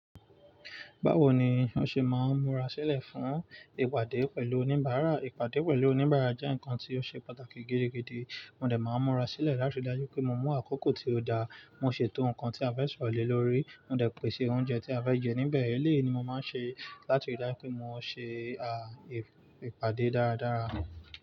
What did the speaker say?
Báwo ni wọ́n ṣe máa ń múra sílẹ̀ fún ìpàdé pẹ̀lú oníbàárà? Ìpàdé pẹ̀lú oníbàárà jẹ́ nǹkan tí ó ṣe pàtàkì gidigidi. Mo dẹ̀ máa ń múra sílẹ̀ láti rí dájú pé mo mú àkókò tí ó dáa. Mo ṣètò nǹkan tí a fẹ́ sọ̀rọ̀ lórí. Mo dẹ̀ pèsè oúnjẹ tí a fẹ́ jẹ níbẹ̀. Eléyìí ni mo máa ń ṣe láti rí dájú pé mo ṣe à ìpàdé dáradára.